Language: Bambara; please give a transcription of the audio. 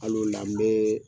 Al'ola n bee